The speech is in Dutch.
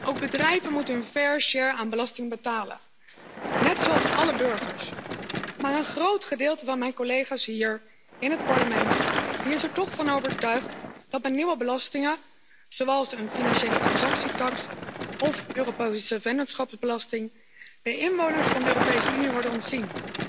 Ook bedrijven moeten hun aan belasting betalen, net zoals alle burgers. Maar een groot gedeelte van mijn collega's hier in het Parlement is er toch van overtuigd dat met nieuwe belastingen, zoals een financiële transactietaks of Europese vennootschapsbelasting, de inwoners van de Europese Unie worden ontzien.